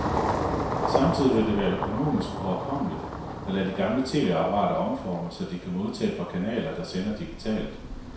Samtidig vil det være økonomisk overkommeligt at lade de gamle tv-apparater omforme, så de kan modtage fra kanaler, der sender digitalt.